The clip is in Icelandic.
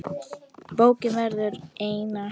Bókin verður einar